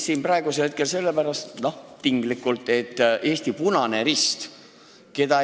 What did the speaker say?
Mihhail nuttis siin praegu – noh, tinglikult – Eesti Punase Risti pärast.